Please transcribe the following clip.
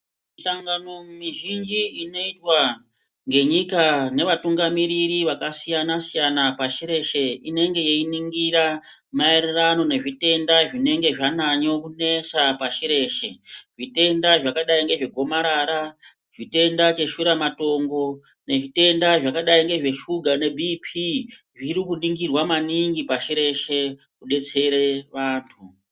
Misangano mizhinji inoitwa ngenyika nevatungamiriri vakasiyana-siyana pashi reshe inenge yeiningira maereno nezvitenda zvinenge zvanyanyo kunesa pashi reshe. Zvitenda zvadai ngezve gomarara, zvitenda zveshura matongo nezvitenda zvakadai ngezve shuga nebiipii zviri kuningirwa maningi pashi reshe kudetsera antu.